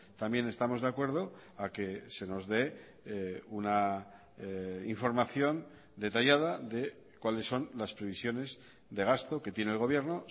también estamos de acuerdo a que se nos dé una información detallada de cuáles son las previsiones de gasto que tiene el gobierno